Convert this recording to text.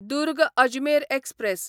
Durg Ajmer express